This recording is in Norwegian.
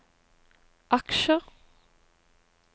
aksjer